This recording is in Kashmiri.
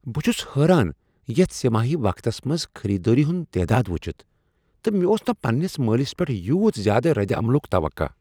بہ چھُس حیران یتھ سہ ماہی وقتس منز خیریدٲری ہُند تعداد وچھتھ۔ تہ مےٚ اوس نہ پننس مالس پیٹھ یُوت زیادہ ردِ عملک توقع۔